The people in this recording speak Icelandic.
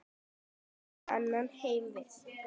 Nú tekur annar heimur við.